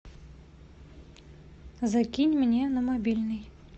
закинь мне на мобильный